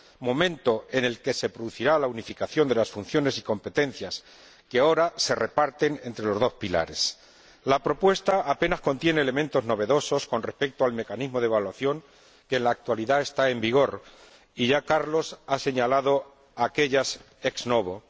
momento en el que se producirá la unificación de las funciones y competencias que ahora se reparten entre los dos pilares. La propuesta apenas contiene elementos novedosos con respecto al mecanismo de evaluación que en la actualidad está en vigor y ya Carlos ha señalado aquéllos ex novo